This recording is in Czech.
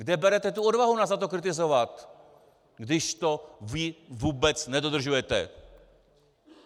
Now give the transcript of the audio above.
Kde berete tu odvahu nás za to kritizovat, když to vy vůbec nedodržujete?